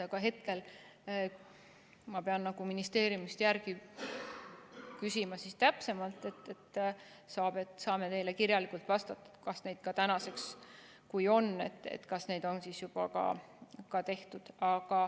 Aga hetkel ma pean ministeeriumist täpsemalt järele küsima, siis saame teile kirjalikult vastata, kas neid on tänaseks juba ka tehtud.